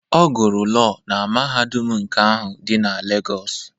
Ọ gụrụ Lọọ na mahadum nke ahụ dị na Legos.